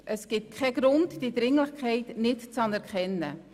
Es gibt keinen Grund, diese Dringlichkeit nicht zu anerkennen.